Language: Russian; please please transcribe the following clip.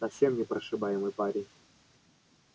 совсем непрошибаемый парень